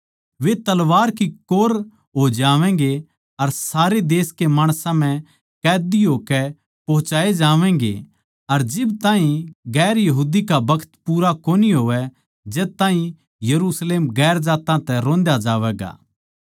वे तलवार की कौर हो जावैंगे अर सारे देश कै माणसां म्ह कैदी होकै पोहुचाये जावैंगे अर जिब ताहीं और जात्तां का बखत पूरा कोनी होवै जद ताहीं यरुशलेम गेर जात्तां तै रोंद्या जावैगा